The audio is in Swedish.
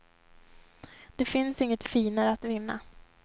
Det finns inget finare att vinna.